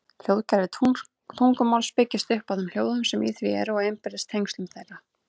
Hljóðkerfi tungumáls byggist upp á þeim hljóðum sem í því eru og innbyrðis tengslum þeirra.